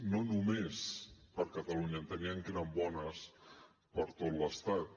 no només per catalunya enteníem que eren bones per tot l’estat